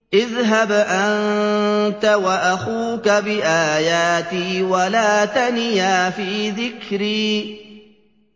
اذْهَبْ أَنتَ وَأَخُوكَ بِآيَاتِي وَلَا تَنِيَا فِي ذِكْرِي